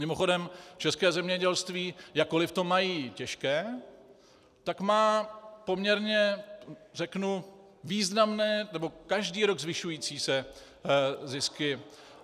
Mimochodem, české zemědělství, jakkoliv to mají těžké, tak má poměrně, řeknu, významné nebo každý rok zvyšující se zisky.